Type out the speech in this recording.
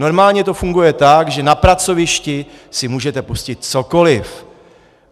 Normálně to funguje tak, že na pracovišti si můžete pustit cokoli.